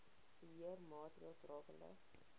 beheer maatreëls rakende